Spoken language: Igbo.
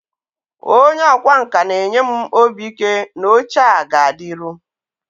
onye ọkwá nkà na-enye m obi ike na oche a ga-adịru